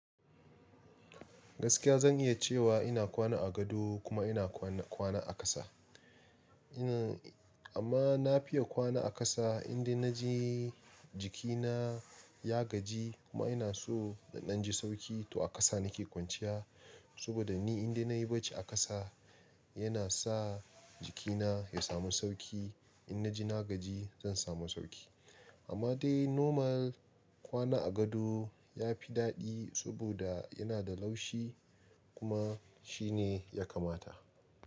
Gaskiya zan iya cewa ina kwana a gado kuma ina kwana, kwana a ƙasa. Ina, amma na fiya kwana a ƙasa indai na ji jikina ya gaji kuma ina so na ɗan ji sauki to a ƙasa na ke kwanciya. Saboda ni inda na yi barci a ƙasa yana sa jikina ya samu sauki. Inna ji na gaji zan samu sauki. Amma dai normal kwana a gado ya fi daɗi saboda yana da laushi kuma shi ne ya kamata.